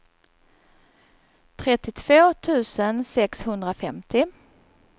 trettiotvå tusen sexhundrafemtio